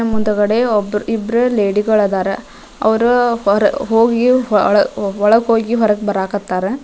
ಮುಂದುಗಡೆ ಒಬ್ಬರು ಒಬ್ರು ಲೇಡಿ ಗಳು ಅದರ ಅವ್ರು ಹೊರ್‌ ಹೊಗಿ ಒಳಗ್ ಹೋಗಿ ಹೊರಗ್ ಬರಾಕ್ ಹತ್ತರ --